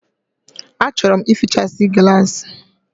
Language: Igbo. A chọrọ m ịfịchasi gịlasi